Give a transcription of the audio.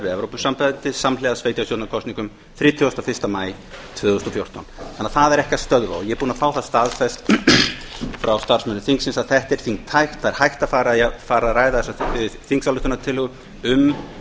evrópusambandið samhliða sveitarstjórnarkosningum þrítugasta og fyrsta maí tvö þúsund og fjórtán það er ekki að stöðva og ég er búinn að fá það staðfest frá starfsmönnum þingsins að þetta er þingtækt það er hægt að fara að ræða þessa þingsályktunartillögu um